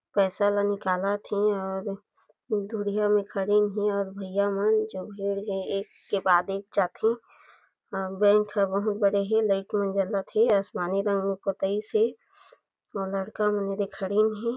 पैसा ला निकालत हे और दूरी हा म खड़ीन हे और भैया मन जो भीड़ हे एक के बाद एक जाथे बैंक ह बहुत बड़े हे लाइट मन जलत हे आसमानी रंग म पोताईस हे और लड़का मन येदे खड़ीन हे।